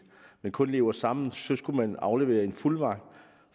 men kun lever sammen så skal man aflevere en fuldmagt